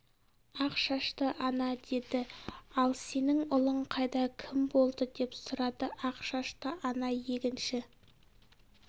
ақ шашты ана деді ал сенің ұлың қайда кім болды деп сұрады ақ шашты ана егінші